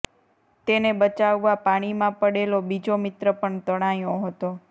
તેને બચાવવા પાણીમાં પડેલો બીજો મિત્ર પણ તણાયો હતો